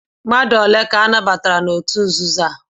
Mmadu bu ihe anabatara na otu nzuzo?